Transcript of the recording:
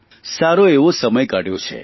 સારો એવો સમય કાઢ્યો છે